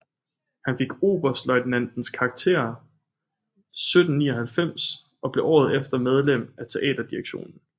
Han fik oberstløjtnants karakter 1799 og blev året efter medlem af teaterdirektionen